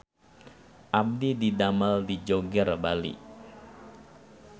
Abdi didamel di Joger Bali